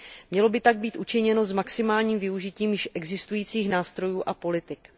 Mělo by tak být učiněno s maximálním využitím již existujících nástrojů a politik.